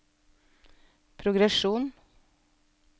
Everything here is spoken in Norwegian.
progresjon